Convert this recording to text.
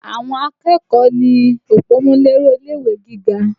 Àwọn akẹ́kọ̀ọ́ ni òpómúléró ilé-ìwé gíga